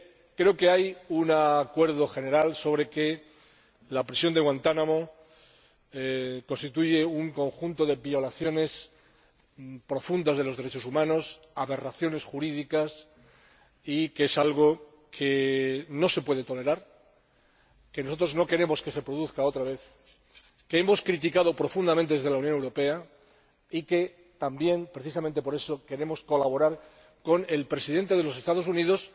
Creo que hay un acuerdo general sobre el hecho de que la prisión de Guantánamo constituye un conjunto de violaciones profundas de los derechos humanos, aberraciones jurídicas que no se pueden tolerar, que nosotros no queremos que se produzcan otra vez, que hemos criticado profundamente desde la Unión Europea. Y, precisamente por eso, queremos colaborar con el Presidente de los Estados Unidos,